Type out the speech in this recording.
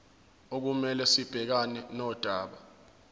okumele sibhekane nodaba